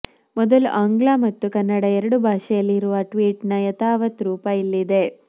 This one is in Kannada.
ಮೊದಲು ಆಂಗ್ಲ ಮತ್ತು ಕನ್ನಡ ಎರಡು ಭಾಷೆಯಲ್ಲಿ ಇರುವ ಟ್ವೀಟ್ ನ ಯಥಾವಥ್ ರೂಪ ಇಲ್ಲಿದೆ